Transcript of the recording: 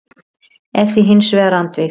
er því hins vegar andvíg.